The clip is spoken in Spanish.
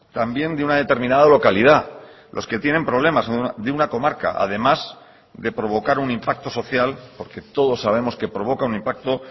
también de una determinada localidad los que tienen problemas de una comarca además de provocar un impacto social porque todos sabemos que provoca un impacto